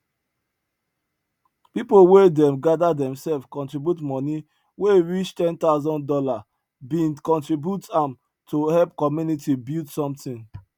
people wey dem gather themselves contribute money wey e reach ten thousand dollar bin contribute am to help community build somtin